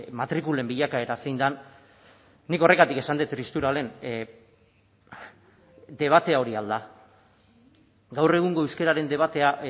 matrikulen bilakaera zein den nik horregatik esan dut tristura lehen debatea hori al da gaur egungo euskararen debatea